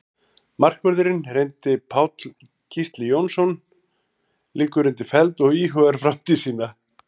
Markvörðurinn reyndi Páll Gísli Jónsson liggur undir feld og íhugar framtíð sína.